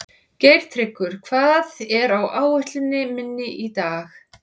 Geirtryggur, hvað er á áætluninni minni í dag?